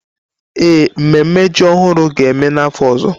Ee, mmemme ji ọhụrụ ga-eme n'afọ ọzọ.